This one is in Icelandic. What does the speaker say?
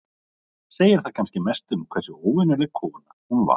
Segir það kannski mest um hversu óvenjuleg kona hún var.